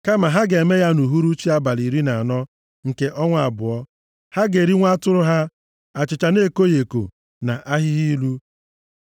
Kama ha ga-eme ya nʼuhuruchi abalị iri na anọ nke ọnwa abụọ. Ha ga-eri nwa atụrụ ha, achịcha na-ekoghị eko, + 9:11 Achịcha nke yiist na-adịghị nʼime ya na ahịhịa ilu.